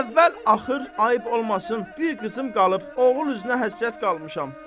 Əvvəl-axır ayıp olmasın bir qızım qalıb, oğul üzünə həsrət qalmışam.